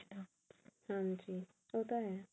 ਹਾਂਜੀ ਉਹ ਤਾਂ ਹੈ